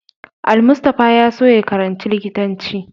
Almustapha ya so ya karanci likitanci.